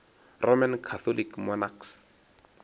roman catholic monarchs